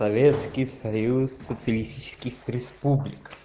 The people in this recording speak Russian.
советский союз социалистических республик